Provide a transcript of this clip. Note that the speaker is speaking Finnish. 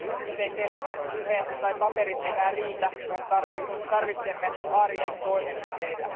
Nyt ei pelkkä puhe tai paperit enää riitä, vaan tarvitsemme arjen toimenpiteitä.